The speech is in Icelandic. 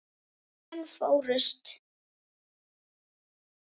Fimm menn fórust.